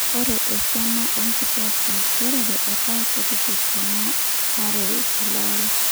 Ore esiana o nkitwak te nkigerore etaa kuti tesiana are tele ari.